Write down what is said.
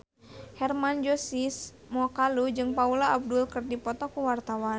Hermann Josis Mokalu jeung Paula Abdul keur dipoto ku wartawan